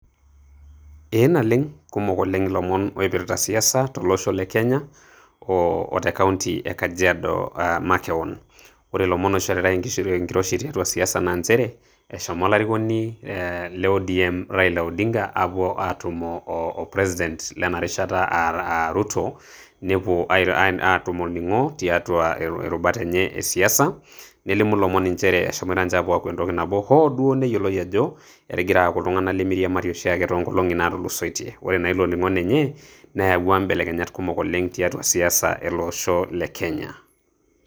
eeh naleng' kumok oleng ilomon oipirta siasa to losho le kenya o te kaunti e kajiado makewon. ore ilomon oishoritae enkiroshi tiatua siasa naa nchere eshomo olarikoni le odm raila odinga aapuo atumo o president lena rishata aa ruto, nepuo aatum olning'o tiatua irubat enye esiasa, nelimu ilomon inchere eshomoito ninche aaku entoki nabo ,hoo duo neyioloi ajo etigira aaku iltung'anak lemeiriamari oshiake too nkolong'i naatulusoitie, ore naa ilo ning'o lenye neyawua inkibelekenyat kumok oleng tiatua siasa ele osho le kenya.